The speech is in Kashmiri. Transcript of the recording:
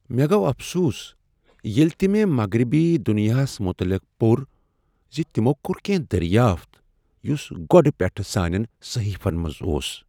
مےٚ گوٚو افسوس ییلِہ تِہ مےٚ مغربی دنیاہس متعلق پوٚر زِ تِمو کوٚر کینٛہہ دریافت یُس گۄڈٕ پیٹھ سانین صحیفن منٛز اوس ۔